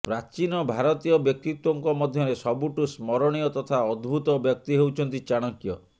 ପ୍ରାଚୀନ ଭାରତୀୟ ବ୍ୟକ୍ତିତ୍ୱଙ୍କ ମଧ୍ୟରେ ସବୁଠୁ ସ୍ମରଣୀୟ ତଥା ଅଦ୍ଭୁତ ବ୍ୟକ୍ତି ହେଉଛନ୍ତି ଚାଣକ୍ୟ